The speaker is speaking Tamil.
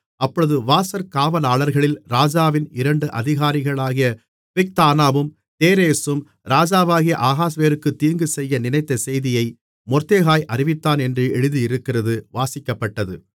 அப்பொழுது வாசற் காவலாளர்களில் ராஜாவின் இரண்டு அதிகாரிகளாகிய பிக்தானாவும் தேரேசும் ராஜாவாகிய அகாஸ்வேருவுக்கு தீங்கு செய்ய நினைத்த செய்தியை மொர்தெகாய் அறிவித்தான் என்று எழுதியிருக்கிறது வாசிக்கப்பட்டது